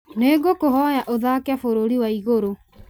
nĩ ngũkũhoya ũthaake bũrũri wa igũrũ